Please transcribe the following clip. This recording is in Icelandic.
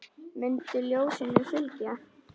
Mundu ljósinu að fylgja.